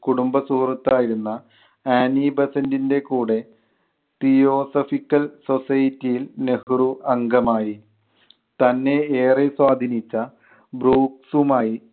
കുടുംബ സുഹൃത്ത് ആയിരുന്ന ആനി ബസൻറ്റിൻ്റെ കൂടെ theosophical society യിൽ നെഹ്‌റു അംഗമായി. തന്നെ ഏറെ സ്വാധീനിച്ച ബ്രുക്സുമായി